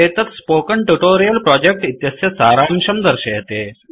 एतत् spoken tutorial project इत्यस्य सारांशं दर्शयति